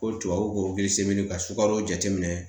Ko tubabu seli ka sukaro jateminɛ